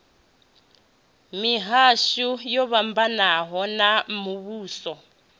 mihasho yo fhambanaho ya muvhuso